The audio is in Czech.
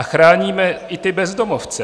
A chráníme i ty bezdomovce.